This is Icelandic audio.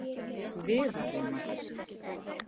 Viðarrima